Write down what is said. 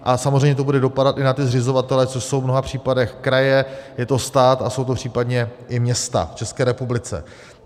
A samozřejmě to bude dopadat i na ty zřizovatele, což jsou v mnoha případech kraje, je to stát a jsou to případně i města v České republice.